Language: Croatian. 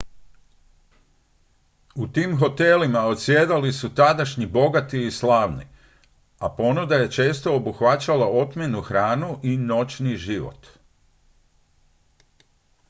u tim hotelima odsjedali su tadašnji bogati i slavni a ponuda je često obuhvaćala otmjenu hranu i noćni život